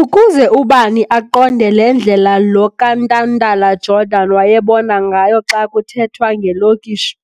Ukuze ubani aqonde le ndlela lo kaNtantala-Jordan wayebona ngayo xa kuthetwa ngelokishi,